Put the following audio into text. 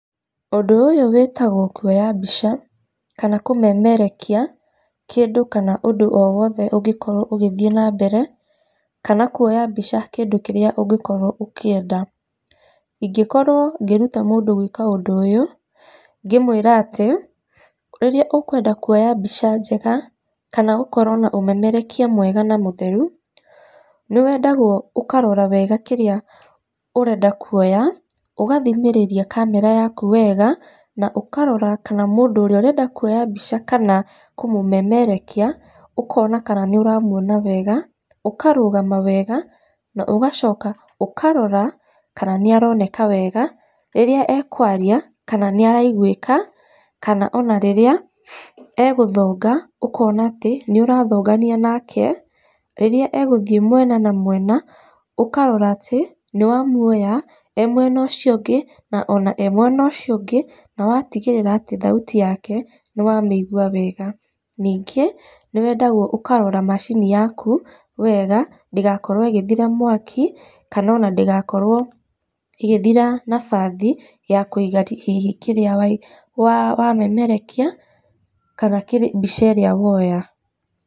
Ũndũ ũyũ wĩtagwo kuoya mbica kana kũmemerekia kĩndũ kana ũndũ owothe ũngĩkorwo ũgĩthiĩ na mbere kana kuoya mbica kĩndũ kĩrĩa ũngĩkorwo ũkĩenda. Ingĩkorwo ngĩruta mũndũ gũĩka ũndũ ũyũ, ngĩmũĩra atĩ, rĩrĩa ũkwenda kuoya mbica njega, kana gũkorwo na ũmemerekia mwega na mũtheru, nĩ wendagwo ũkarora wega kĩrĩa ũrenda kuoya, ũgathimĩrĩria kamera yaku wega, na ũkarora kana mũndũ ũrĩa ũrenda kuoya mbica kana kũmũmemerekia ũkona kana nĩ ũramuona wega, ũkarũgama wega na ũgacoka ũkarora kana nĩ aroneka wega, rĩrĩa ekwaria, kana nĩ araigũĩka, kana ona rĩrĩa egũthonga ũkona atĩ nĩ ũrathongania nake, rĩrĩa egũthiĩ mwena na mwena, ũkarora atĩ nĩ wamuoya e mwena ũcio ũngĩ, na ona e mwena ũcio ũngĩ, na watigĩrĩra atĩ thauti yake nĩ wamĩigua wega. Ningĩ, nĩ wendagwo ũkarora macini yaku wega, ndĩgakorwo ĩgĩthira mwaki kana ona ndĩgakorwo ĩgithira nabathi ya kũiga hihi kĩrĩa wamemerekia kana mbica ĩrĩa woya.